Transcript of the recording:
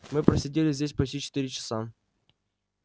мы просидели здесь почти четыре часа